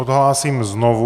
Odhlásím znovu.